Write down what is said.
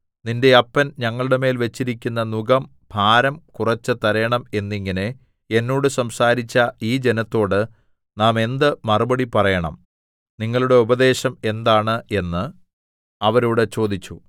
നിന്റെ അപ്പൻ ഞങ്ങളുടെമേൽ വെച്ചിരിക്കുന്ന നുകം ഭാരം കുറെച്ച് തരേണം എന്നിങ്ങനെ എന്നോട് സംസാരിച്ച ഈ ജനത്തോട് നാം എന്ത് മറുപടി പറയേണം നിങ്ങളുടെ ഉപദേശം എന്താണ് എന്ന് അവരോട് ചോദിച്ചു